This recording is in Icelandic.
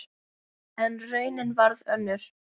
En raunin varð önnur.